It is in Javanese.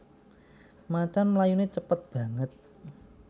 Macan mlayuné cépet banget